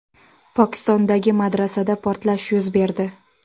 Pokistondagi madrasada portlash yuz berdi.